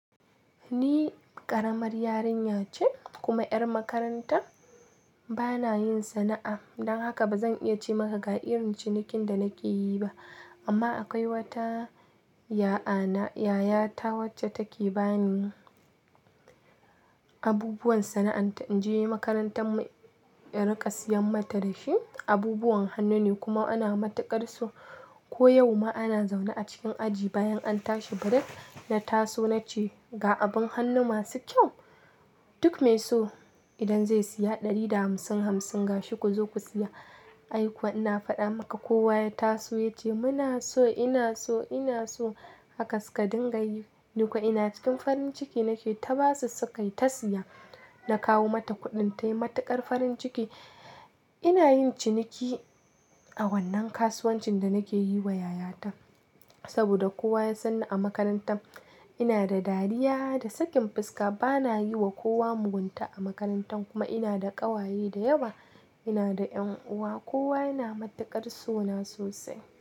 Ni ƙaramar yarinya ce kuma 'yar makaranta. Bana yin sana'a, don haka ba zan iya ce maka ga irin cinikin da nake yi ba. Amma akwai wata yaya ta, yayata wacce take ba ni abubuwan sana'anta. In je makarantar mu in raka siyan mata da shi. Abubuwan hannu ne kuma ana matakar so Ko yau ma ana zaune a cikin aji bayan an tashi break na taso nace, "ga abin hannu masu kyau, duk mai so idan zai siya ɗari da hamsin, hamsin gashi ku zo ku siya". Ai kuwa ina fada maka kowa ya taso ya ce muna so, ina so, ina so. Haka suka dinga yi. Ni kuwa ina cikin farin ciki nake ta basu su kai ta siya. Na kawo mata kuɗin tayi matakar farin ciki. Ina yin ciniki a wannan kasuwancin da nake yi wa yayata. Saboda kowa ya san ni a makarantar, ina da dariya da sakin fuska. Bana yi wa kowa mugunta a makarantar kuma ina da ƙawaye da yawa. Ina da 'yan'uwa, kowa yana matakar suna sosai.